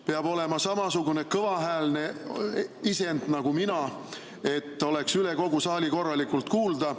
Peab olema samasugune kõvahäälne isend nagu mina, et oleks üle kogu saali korralikult kuulda.